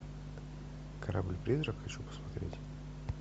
корабль призрак хочу посмотреть